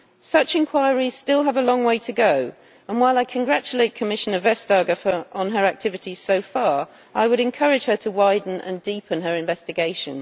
Such inquiries still have a long way to go and, while I congratulate Commissioner Vestager on her activities so far, I would encourage her to widen and deepen her investigation.